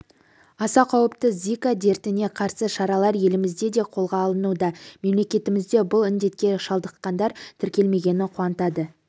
аса қауіпті зика дертіне қарсы шаралар елімізде де қолға алынуда мемлекетімізде бұл індетке шалдыққандар тіркелмегені қуантады